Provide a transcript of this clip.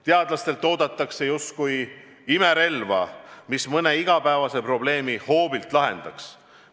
Teadlastelt oodatakse justkui imerelva, mis mõne igapäevase probleemi hoobilt lahendaks.